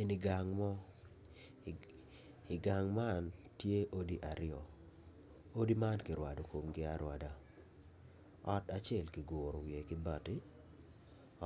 Eni gang mo, i gang man tye odi aryo odi man kirwado komgi arwada, ot acel kiguro kibati